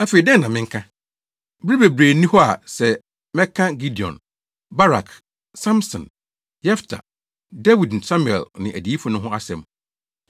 Afei dɛn na menka? Bere bebree nni hɔ sɛ mɛka Gideon, Barak, Samson, Yefta, Dawid ne Samuel ne adiyifo no ho asɛm.